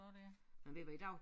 Men du hvad i dag